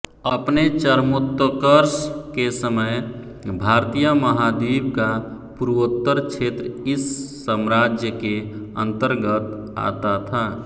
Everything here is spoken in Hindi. अपने चरमोत्कर्ष के समय भारतीय महाद्वीप का पूर्वोत्तर क्षेत्र इस साम्राज्य के अन्तर्गत आता था